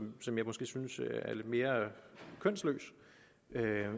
og som jeg måske synes er lidt mere kønsløst